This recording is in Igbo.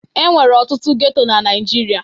Enwere ọtụtụ geto na Naijiria.